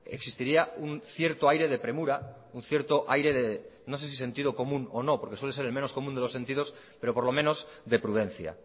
existiría un cierto aire de premura un cierto aire de no sé si sentido común o no porque suele ser el menos común de los sentidos pero por lo menos de prudencia